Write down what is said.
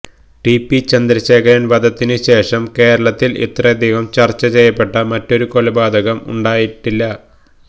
T P Chandrasekharan വധത്തിന് ശേഷം കേരളത്തിൽ ഇത്രയധികം ചർച്ച ചെയ്യപ്പെട്ട മറ്റൊരു കൊലപാതകം ഉണ്ടായിട്ടില്ല